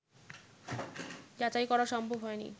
যাচাই করা সম্ভব হয়নি